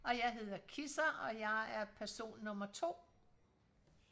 og jeg hedder Kisser og jeg er person nummer 2